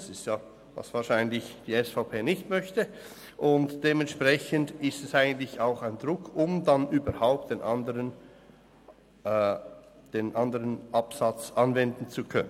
Wahrscheinlich ist es das, was die SVP nicht möchte, und dementsprechend erzeugt es eigentlich auch Druck, um dann überhaupt den anderen Absatz anwenden zu können.